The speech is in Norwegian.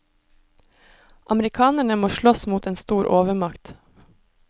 Amerikanerne må slåss mot en stor overmakt.